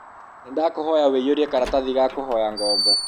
Nĩ ndakũhoya ũiyũrie karatathi ga kũhoya ngombo.